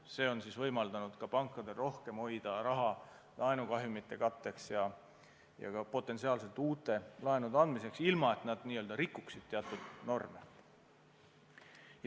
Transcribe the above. See on võimaldanud pankadel rohkem hoida laenukahjumite katteks ja ka potentsiaalselt uute laenude andmiseks, ilma et nad rikuksid teatud norme.